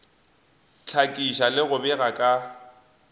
hlakiša le go bega ka